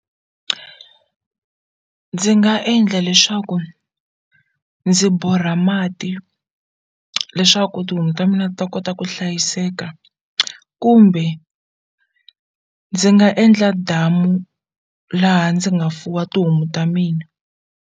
Ndzi nga endla leswaku ndzi borha mati leswaku tihomu ta mina ta kota ku hlayiseka kumbe ndzi nga endla damu laha ndzi nga fuwa tihomu ta mina.